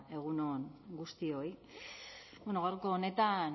egun on guztioi gaurko honetan